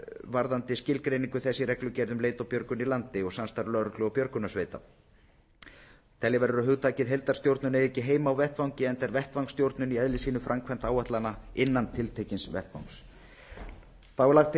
varðandi skilgreiningu þess í reglugerð um leit og björgun í landi og samstarf lögreglu og björgunarsveita telja verður að hugtakið heildarstjórnun eigi ekki heima á vettvangi enda er vettvangsstjórnun í eðli sínu framkvæmd áætlana innan tiltekins vettvangs þá er lagt til